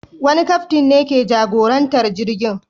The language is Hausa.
Wani kaftin ne ke jagorantar jirgi.